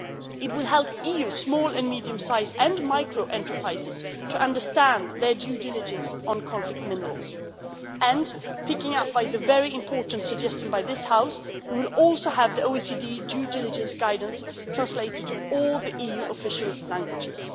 It will help EU small and medium sized and micro enterprises to understand their due diligence on conflict minerals and, picking up on the very important suggestion by this House, we will also have the OECD due diligence guidance translated into all the EU official languages.